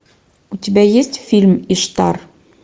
у тебя есть фильм иштар